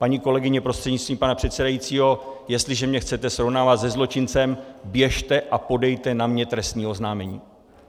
Paní kolegyně prostřednictvím pana předsedajícího, jestliže mě chcete srovnávat se zločincem, běžte a podejte na mě trestní oznámení.